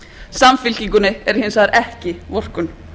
samfylkingunni er hins vegar ekki vorkunn